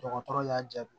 Dɔgɔtɔrɔ y'a jaabi